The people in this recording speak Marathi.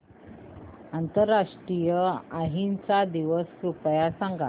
आंतरराष्ट्रीय अहिंसा दिवस कृपया सांगा